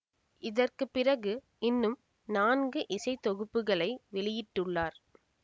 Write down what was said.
இதற்கு பிறகு இன்னும் நான்கு இசைத்தொகுப்புகளை வெளியிட்டுள்ளார்